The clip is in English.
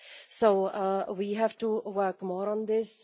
So we have to work more on this.